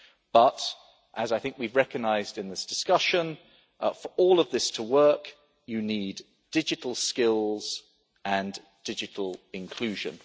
But, as I think we have recognised in this discussion, for all of this to work you need digital skills and digital inclusion.